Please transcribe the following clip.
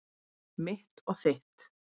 Mitt og þitt.